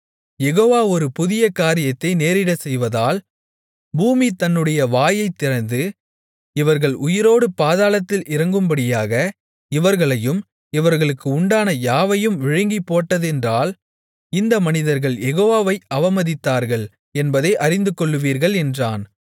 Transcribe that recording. யெகோவா ஒரு புதிய காரியத்தை நேரிடச்செய்வதால் பூமி தன்னுடைய வாயைத்திறந்து இவர்கள் உயிரோடு பாதாளத்தில் இறங்கும்படியாக இவர்களையும் இவர்களுக்கு உண்டான யாவையும் விழுங்கிப் போட்டதென்றால் இந்த மனிதர்கள் யெகோவாவை அவமதித்தார்கள் என்பதை அறிந்துகொள்வீர்கள் என்றான்